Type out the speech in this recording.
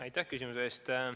Aitäh küsimuse eest!